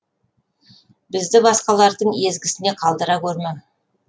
бізді басқалардың езгісіне қалдыра гөрме